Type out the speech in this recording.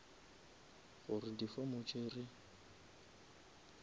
gore di form tše re